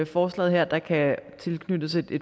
forslaget her at der kan tilknyttes et